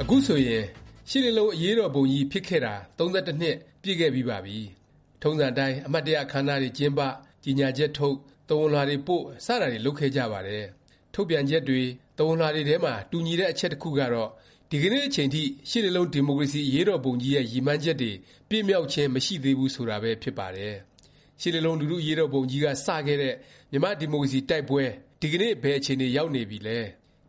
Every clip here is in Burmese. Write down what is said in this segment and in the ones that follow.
အခုဆိုရင် ရှစ်လေးလုံး အရေးတော်ပုံကြီး ဖြစ်ပွားခဲ့ပြီးတာ ၃၁ နှစ် ပြည့်ခဲ့ပြီးပါပြီ။ ထုံးစံအတိုင်း အမှတ်တရ အခန်းအနားတွေ ကျင်းပ၊ ကြေငြာချက်ထုတ်၊ သဝဏ်လွှာတွေပို့ စတာတွေ လုပ်ခဲ့ကြပါတယ်။ ထုတ်ပြန်ချက်တွေ သဝဏ်လွှာတွေထဲမှာ တူညီတဲ့ အချက်တစ်ခုကတော့ ဒီကနေ့အချိန်ထိ ရှစ်လေးလုံး ဒီမိုကရေစီ အရေးတော်ပုံကြီးရဲ့ ရည်မှန်းချက်တွေ ပြည့်မြောက်ခြင်း မရှိသေးဘူး ဆိုတာပဲ ဖြစ်ပါတယ်။ ရှစ်လေးလုံး လူထု အရေးတော်ပုံကြီးက စခဲ့တဲ့ မြန်မာ့ဒီမိုကရေစီ တိုက်ပွဲ ဒီကနေ့ ဘယ်အခြေအနေ ရောက်နေပြီလဲ၊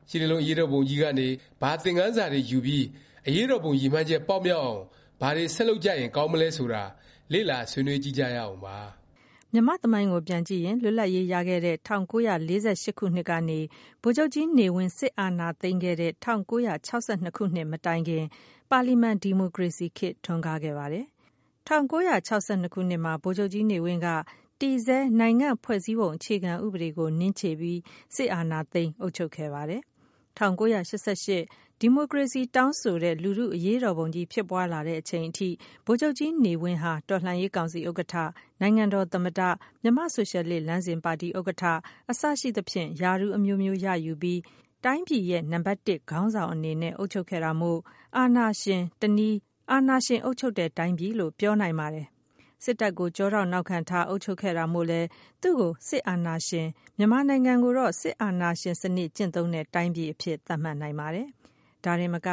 ရှစ်လေးလုံး အရေးတော်ပုံကြီးကနေ ဘာသင်ခန်းစာတွေ ယူပြီး အရေးတော်ပုံ ရည်မှန်းချက် ပေါက်မြောက်အောင် ဘာတွေ ဆက်လုပ်ကြရင် ကောင်းမလဲ ဆိုတာ လေ့လာ ဆွေးနွေးကြည့်ကြရအောင်ပါ။ မြန်မာ့သမိုင်းကို ပြန်ကြည့်ရင် လွတ်လပ်ရေးရတဲ့ ၁၉၄၈ ခုနှစ်ကနေ ဗိုလ်ချုပ်ကြီးနေဝင်း စစ်အာဏာသိမ်းခဲ့တဲ့ ၁၉၆၂ မတိုင်ခင် ပါလီမန် ဒီမိုကရေစီခေတ် ထွန်းကားခဲ့ပါတယ်။ ၁၉၆၂ ခုနှစ်မှာ ဗိုလ်ချုပ်ကြီးနေဝင်းဟာ တည်ဆဲ နိုင်ငံ့ဖွဲ့စည်းပုံ အခြေခံ ဥပဒေကို နင်းခြေပြီး စစ်အာဏာသိမ်း အုပ်ချုပ်ခဲ့ပါတယ်။ ၁၉၈၈ ဒီမိုကရေစီ တောင်းဆိုတဲ့ လူထု အရေးတော်ပုံကြီး ဖြစ်ပွားလာတဲ့ အချိန်ထိ ဗိုလ်ချုပ်ကြီးနေဝင်းဟာ တော်လှန်ရေး ကောင်စီ ဥက္ကဌ၊ နိုင်ငံတော် သမ္မတ၊ မြန်မာ့ဆိုရှယ်လစ် လမ်းစဉ်ပါတီ ဥက္ကဌ အစရှိသဖြင့် ရာထူးအမျိုးမျိုးရယူပြီး တိုင်းပြည်ရဲ့ နံပတ်တစ် ခေါင်းဆောင်အနေနဲ့ အုပ်ချုပ်ခဲ့တာမို့ အာဏာရှင်၊ တစ်နည်း အာဏာရှင် အုပ်ချုပ်တဲ့ တိုင်းပြည်လို့ ပြောနိုင်ပါတယ်။ စစ်တပ်ကို ကျောထောက်နောက်ခံထား အုပ်ချုပ်ခဲ့တာမို့လည်း သူ့ကို စစ်အာဏာရှင်၊ မြန်မာနိုင်ငံကိုတော့ စစ်အာဏာရှင် စနစ်ကျင့်သုံးတဲ့ တိုင်းပြည် အဖြစ် သတ်မှတ်နိုင်ပါတယ်။ ဒါတင်မက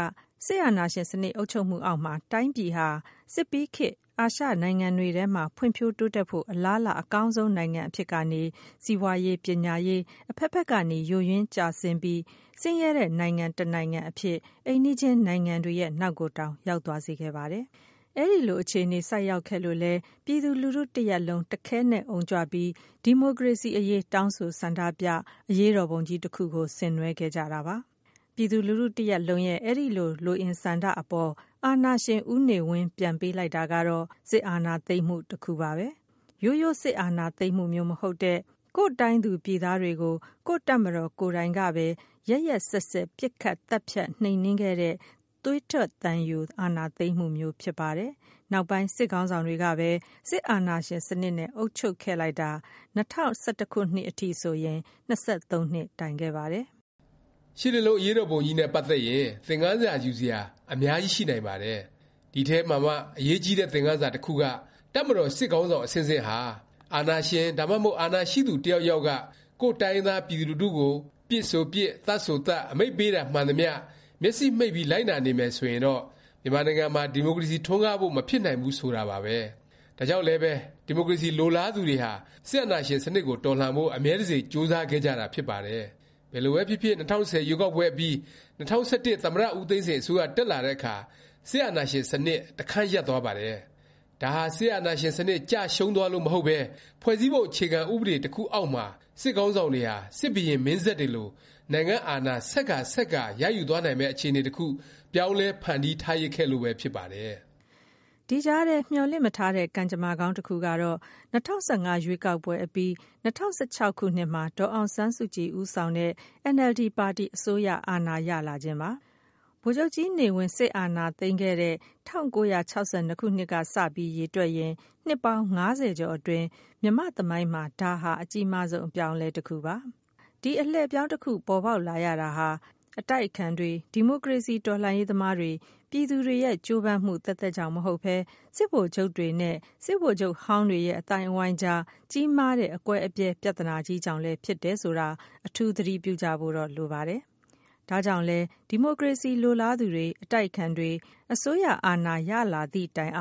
စစ်အာဏာရှင် စနစ် အုပ်ချုပ်မှုအောက်မှာ တိုင်းပြည်ဟာ စစ်ပြီးခေတ် အာရှနိုင်ငံတွေထဲမှာ ဖွံ့ဖြိုးတိုးတက်ဖို့ အလားအလာ အကောင်းဆုံး နိုင်ငံ အဖြစ်ကနေ စီးပွားရေး၊ ပညာရေး အဖက်ဖက်ကနေ ယိုယွင်းကျဆင်းပြီး ဆင်းရဲတဲ့ နိုင်ငံတစ်နိုင်ငံ အဖြစ် အိမ်နီးချင်းနိုင်ငံတွေရဲ့ နောက်ကိုတောင် ရောက်သွားစေခဲ့ပါတယ်။ အဲလို အခြေအနေ ဆိုက်ရောက်ခဲ့လို့လည်း ပြည်သူလူထု တရပ်လုံး တခဲနက် အုံကြွပြီး ဒီမိုကရေစီ အရေး တောင်းဆို ဆန္ဒပြ၊ အရေးတော်ပုံကြီးတစ်ခု ဆင်နွဲှခဲ့ကြတာပါ။ ပြည်သူလူထု တစ်ရပ်လုံးရဲ့ အဲဒီ လိုအင်ဆန္ဒအပေါ် အာဏာရှင် ဦးနေဝင်း ပြန်ပေးလိုက်တာကတော့ စစ်အာဏာသိမ်းမှု တစ်ခုပါပဲ။ ရိုးရိုး စစ်အာဏာသိမ်းမှုမျိုး မဟုတ်တဲ့ ကိုယ့်တိုင်းသူပြည်သားတွေကို ကိုယ့်တပ်မတော် ကိုယ်တိုင်ကပဲ ရက်ရက်စက်စက် ပစ်ခတ်သတ်ဖြတ် နှိမ်နင်းခဲ့တဲ့ သွေးထွက်သံယို အာဏာသိမ်းမှုမျိုး ဖြစ်ပါတယ်။ နောက်ပိုင်း စစ်ခေါင်းဆောင်တွေကပဲ စစ်အာဏာရှင်စနစ် နဲ့ အုပ်ချုပ်ခဲ့လိုက်တာ ၂၀၁၁ ခုနှစ်အထိ ၂၃နှစ် တိုင်ခဲ့ပါတယ်။ ရှစ်လေးလုံး အရေးတော်ပုံကြီးနဲ့ ပတ်သက်ရင် သင်ခန်းစာ ယူစရာ အများကြီး ရှိနိုင်ပါတယ်။ ဒီအထဲမှာမှ အရေးကြီးတဲ့ သင်ခန်းစာ တစ်ခုက တပ်မတော် စစ်ခေါင်းဆောင် အဆင့်ဆင့်ဟာ အာဏာရှင် ဒါမှမဟုတ် အာဏာရှိသူ တစ်ယောက်ယောက်က ကိုယ့်တိုင်းရင်းသား ပြည်သူလူထုကို ပစ်ဆိုပစ်၊ သတ်ဆိုသတ် အမိန့်ပေးတာ မှန်သမျှ မျက်စေ့မှိတ်ပြီး လိုက်နာနေမယ် ဆိုရင်တော့ မြန်မာနိုင်ငံမှာ ဒီမိုကရေစီ ထွန်းကားဖို့ မဖြစ်နိုင်ဘူး ဆိုတာပါပဲ။ ဒါကြောင့်လဲပဲ ဒီမိုကရေစီ လိုလားသူတွေဟာ စစ်အာဏာရှင်စနစ်ကို တော်လှန်ဖို့ အမြဲတစေ ကြိုးစားခဲ့ကြတာ ဖြစ်ပါတယ်။ ဘယ်လိုပဲဖြစ်ဖြစ် ၂၀၁၀ ရွေးကောက်ပွဲအပြီး ၂၀၁၁ သမ္မတ ဦးသိန်းစိန် အစိုးရ တက်လာတဲ့အခါ စစ်အာဏာရှင်စနစ် တခန်းရပ်သွားပါတယ်။ ဒါဟာ စစ်အာဏာရှင်စနစ် ကျရှုံးသွားလို့ မဟုတ်ပဲ ဖွဲ့စည်းပုံ အခြေခံ ဥပဒေ တစ်ခုအောက်မှာ စစ်ခေါင်းဆောင်တွေဟာ စစ်ဘုရင်မင်းဆက်တွေလို နိုင်ငံ့အာဏာ ဆက်ကာ ဆက်ကာ ရယူသွားနိုင်မယ့် အခြေအနေ တစ်ခု ပြောင်းလဲ ဖန်တီးထားရစ်ခဲ့လို့ပဲ ဖြစ်ပါတယ်။ ဒီကြားထဲ မျှော်လင့်မထားတဲ့ ကံကြမ္မာကောင်း တစ်ခုကတော့ ၂၀၁၅ ရွေးကောက်ပွဲအပြီး ၂၀၁၆ ခုနှစ်မှာ ဒေါ်အောင်ဆန်းစုကြည် ဦးဆောင်တဲ့ အင်န်အယ်လ်ဒီ ပါတီ အစိုးရအာဏာ ရလာခြင်းပါ။ ဗိုလ်ချုပ်ကြီးနေဝင်း စစ်အာဏာသိမ်းပြီး ၁၉၆၂ ခုနှစ်ကစ ရေတွက်ရင် နှစ်ပေါင်း ၅၀ကျော်အတွင်း မြန်မာ့သမိုင်းမှာ ဒါဟာ အကြီးမားဆုံး အလှည့်အပြောင်းတစ်ခုပါ။ ဒီ အလှည့်အပြောင်း တစ်ခု ပေါ်ပေါက်လာရတာဟာ အတိုက်အခံတွေ၊ ဒီမိုကရေစီ တော်လှန်ရေးသမားတွေ ပြည်သူတွေရဲ့ ကြိုးပမ်းမှု သက်သက်ကြောင့်မဟုတ်ပဲ စစ်ဗိုလ်ချုပ်တွေနဲ့ စစ်ဗိုလ်ချုပ်ဟောင်းတွေရဲ့ အသိုင်းအဝိုင်းအကြား ကြီးမားတဲ့ အကွဲအပြဲ ပြသနာကြီးကြောင့်လည်း ဖြစ်တယ်ဆိုတာ အထူး သတိပြုကြဖို့တော့ လိုပါတယ်။ ဒါကြောင့်လဲ ဒီမိုကရေစီ လိုလားသူတွေ၊ အတိုက်အခံတွေ အစိုးရအာဏာ ရလာသည့်တိုင်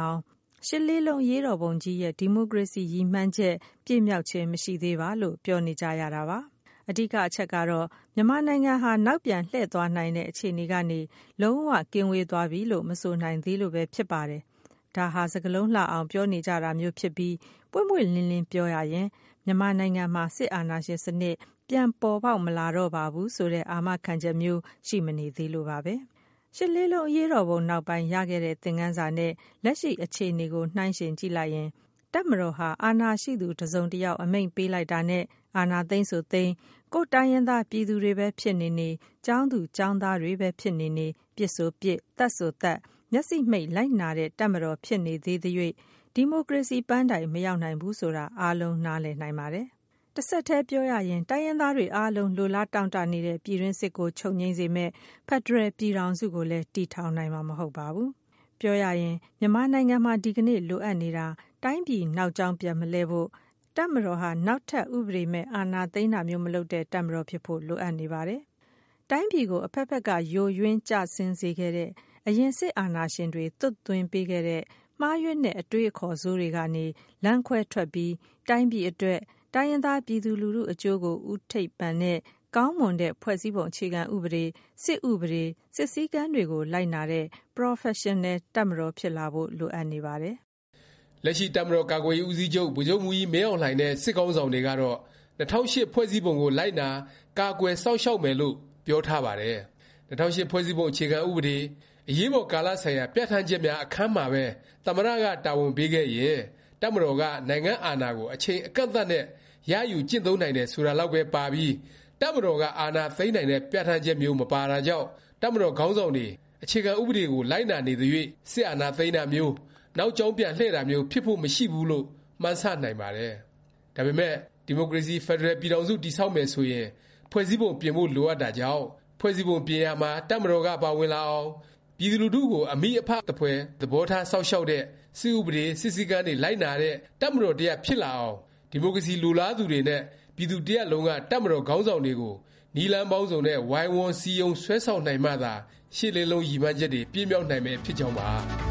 ရှစ်လေးလုံး အရေးတော်ပုံကြီးရဲ့ ဒီမိုကရေစီ ရည်မှန်းချက် ပြည့်မြောက်ခြင်း မရှိသေးပါ လို့ ပြောနေကြရတာပါ။ အဓိက အချက်ကတော့ မြန်မာနိုင်ငံဟာ နောက်ပြန်လှည့်သွားနိုင်တဲ့ အခြေအနေကနေ လုံး၀ ကင်းဝေးသွားပြီလို့ မဆိုနိုင်သေးလို့ပဲ ဖြစ်ပါတယ်။ ဒါဟာ စကားလုံးလှအောင် ပြောနေကြတာမျိုးဖြစ်ပြီး ပွင့်ပွင့်လင်းလင်း ပြောရရင် မြန်မာနိုင်ငံမှာ စစ်အာဏာရှင်စနစ် ပြန်ပေါ်ပေါက်မလာတော့ပါဘူး ဆိုတဲ့ အာမခံချက်မျိုး ရှိမနေသေးလို့ပါပဲ။ ရှစ်လေးလုံး အရေးတော်ပုံ နောက်ပိုင်း ရခဲ့တဲ့ သင်ခန်းစာနဲ့ လက်ရှိ အခြေအနေကို နှိုင်းယှဉ်ကြည့်လိုက်ရင် တပ်မတော်ဟာ အာဏာရှိသူ တစ်စုံတစ်ယောက် အမိန့်ပေးလိုက်တာနဲ့ အာဏာသိမ်းဆိုသိမ်း၊ ကိုယ့်တိုင်းရင်းသား ပြည်သူတွေပဲ ဖြစ်နေနေ၊ ကျောင်းသူကျောင်းသားပဲ ဖြစ်နေနေ ပစ်ဆိုပစ်၊ သတ်ဆိုသတ် မျက်စေ့မှိတ် လိုက်နာနေတဲ့ တပ်မတော် ဖြစ်နေသေးသ၍ ဒီမိုကရေစီ ပန်းတိုင် မရောက်နိုင်ဘူး ဆိုတာ အားလုံးနားလည်နိုင်ပါတယ်။ တဆက်တည်း တိုင်းရင်းသားတွေ အားလုံး လိုလားတောင့်တ နေတဲ့ ပြည်တွင်းစစ်ကို ချုပ်ငြိမ်းစေမယ့် ဖက်ဒရယ် ပြည်ထောင်စုကိုလည်း တည်ထောင်နိုင်မှာ မဟုတ်ပါဘူး။ ပြောရရင် မြန်မာနိုင်ငံမှာ ဒီကနေ့ လိုအပ်နေတာ တိုင်းပြည် နောက်ကြောင်း ပြန်မလှည့်ဖို့၊ တပ်မတော်ဟာ နောက်ထပ် ဥပဒေမဲ့ အာဏာသိမ်းတာမျိုး မလုပ်တဲ့ တပ်မတော် ဖြစ်ဖို့ လိုအပ်နေပါတယ်။ တိုင်းပြည်ကို အဖက်ဖက်က ယိုယွင်း ကျဆင်းစေခဲ့တဲ့ အရင် စစ်အာဏာရှင်တွေ သွတ်သွင်းပေးခဲ့တဲ့ မှားယွင်းတဲ့ အတွေးအခေါ် ဆိုးတွေကနေ လမ်းခွဲထွက်ပြီး တိုင်းပြည်အတွက်၊ တိုင်းရင်းသား ပြည်သူလူထု အကျိုးကို ဦးထိပ်ပန်တဲ့ ကောင်းမွန်တဲ့ ဖွဲ့စည်းပုံ အခြေခံဥပဒေ၊ စစ်ဥပဒေ၊ စစ်စည်းကမ်းတွေကို လိုက်နာတဲ့ ပရော်ဖက်ရှင်နယ် တပ်မတော် ဖြစ်လာဖို့ လိုအပ်နေပါတယ်။ လက်ရှိ တပ်မတော်ကာကွယ်ရေး ဦးစီးချုပ် ဗိုလ်ချုပ်မှူးကြီး မင်းအောင်လှိုင်နဲ့ စစ်ခေါင်းဆောင်တွေကတော့ ၂၀၀၈ ဖွဲ့စည်းပုံကို လိုက်နာ၊ ကာကွယ်၊ စောင့်ရှောက်မယ်လို့ ပြောထားပါတယ်။ ၂၀၀၈ ဖွဲ့စည်းပုံ အခြေခံ ဥပဒေ၊ အရေးပေါ်ကာလဆိုင်ရာ ပြဌာန်းချက်များ အခန်းမှာပဲ သမ္မတ က တာဝန်ပေးခဲ့ရင် တပ်မတော်က နိုင်ငံ့အာဏာကို အချိန်အကန့်အသတ်နဲ့ ရယူကျင့်သုံး နိုင်တယ် ဆိုတာလောက်ပဲ ပါပြီး တပ်မတော်က အာဏာသိမ်းနိုင်တဲ့ ပြဌာန်းချက်မျိုး မပါတာကြောင့် တပ်မတော်ခေါင်းဆောင်တွေ အခြေခံဥပဒေကို လိုက်နာနေသ၍ စစ်အာဏာသိမ်းတာမျိုး၊ နောက်ကြောင်းပြန်လှည့်တာမျိုး ဖြစ်ဖို့ မရှိဘူးလို့ မှန်းဆ နိုင်ပါတယ်။ ဒါပေမယ့် ဒီမိုကရေစီ ဖက်ဒရယ် ပြည်ထောင်စု တည်ဆောက်မယ်ဆိုရင် ဖွဲ့စည်းပုံ ပြင်ဖို့လိုအပ်တာကြောင့်၊ ဖွဲ့စည်းပုံ ပြင်ရာမှာ တပ်မတော်က ပါဝင်လာအောင်၊ ပြည်သူလူထုကို အမိအဖ သဖွယ် သဘောထား စောင့်ရှောက်တဲ့၊ စစ်ဥပဒေ၊ စစ်စည်းကမ်းတွေ လိုက်နာတဲ့ တပ်မတော်တစ်ရပ် ဖြစ်လာအောင် ဒီမိုကရေစီ လိုလားသူတွေနဲ့ ပြည်သူတစ်ရပ်လုံးက တပ်မတော် ခေါင်းဆောင်တွေကို နည်းလမ်းပေါင်းစုံနဲ့ ဝိုင်းဝန်း စည်းရုံး ဆွဲဆောင်နိုင်မှသာ ရှစ်လေးလုံး ရည်မှန်းချက်တွေ ပြည့်မြောက်နိုင်မယ် ဖြစ်ကြောင်းပါ